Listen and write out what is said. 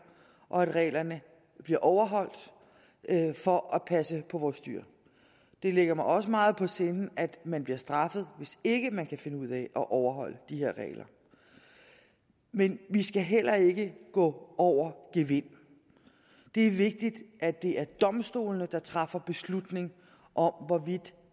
og at reglerne bliver overholdt for at passe på vores dyr det ligger mig også meget på sinde at man bliver straffet hvis ikke man kan finde ud af at overholde de her regler men vi skal heller ikke gå over gevind det er vigtigt at det er domstolene der træffer beslutning om hvorvidt